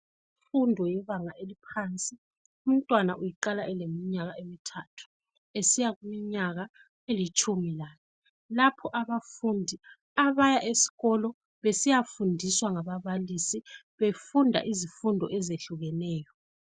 Imfundo yebanga eliphansi umntwana uyiqala eleminyaka emithathu esiya kumniyaka elitshumi lanye lapho abafundi abaya esikolo besiyafundiswa ngababalisi befunda izifundo ezehlukeneyo